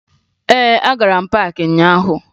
Ee, agara m paakị ụnyaahụ